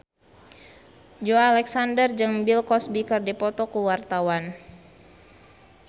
Joey Alexander jeung Bill Cosby keur dipoto ku wartawan